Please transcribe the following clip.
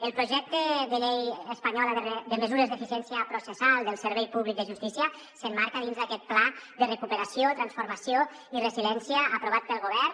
el projecte de llei espanyola de mesures d’eficiència processal del servei públic de justícia s’emmarca dins d’aquest pla de recuperació transformació i resiliència aprovat pel govern